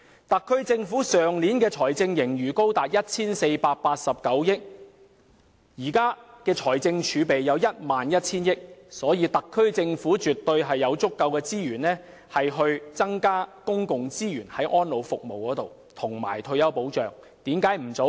特區政府去年的財政盈餘高達 1,489 億元，現時財政儲備有 11,000 億元，絕對有足夠條件增加公共資源於安老服務及退休保障上。